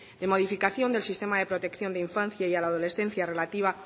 de modificación del sistema de protección de infancia y la adolescencia relativa a